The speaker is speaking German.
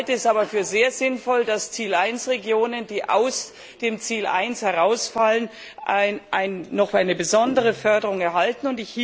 Ich halte es aber für sehr sinnvoll, dass Ziel 1 Regionen, die aus dem Ziel 1 herausfallen, noch eine besondere Förderung erhalten.